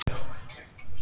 Mér líst illa á hana.